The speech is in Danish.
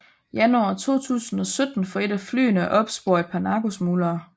Januar 2017 for et af flyene at opspore et par narkosmuglere